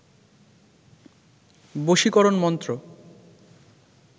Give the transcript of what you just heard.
বশীকরন মন্ত্র